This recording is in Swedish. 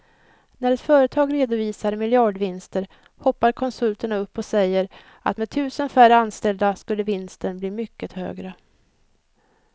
När ett företag redovisar miljardvinster hoppar konsulterna upp och säger att med tusen färre anställda skulle vinsten bli mycket högre.